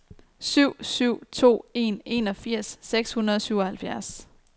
syv syv to en enogfirs seks hundrede og syvoghalvfjerds